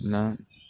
Na